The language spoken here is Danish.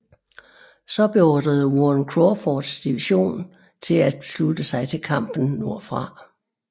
Så beordrede Warren Crawfords division til at slutte sig til kampen nordfra